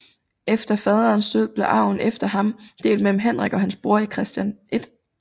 Efter faderens død blev arven efter ham delt mellem Henrik og hans bror Christian 1